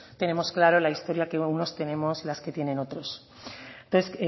tenemos claro la historia que unos tenemos y las que tienen otros